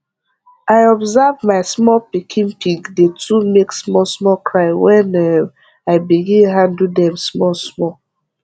i observe ma small pikin pig dey too make small small cry wen um i begin handle dem small small